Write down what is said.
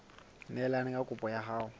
neelane ka kopo ya hao